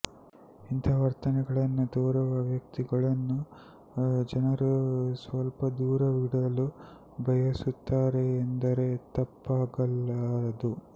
ಇಂತಹ ವರ್ತನೆಗಳನ್ನು ತೋರುವ ವ್ಯಕ್ತಿಗಳನ್ನು ಜನರು ಸ್ವಲ್ಪ ದೂರವಿಡಲು ಬಯಸುತ್ತಾರೆ ಎಂದರೆ ತಪ್ಪಾಗಲಾರದು